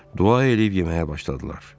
Dua edib yeməyə başladılar.